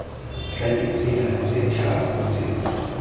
ka ditsela tse tharo tse